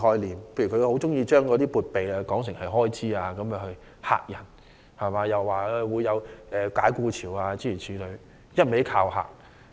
例如，他很喜歡將"撥備"說為"開支"，又指會出現解僱潮，一直恫嚇市民。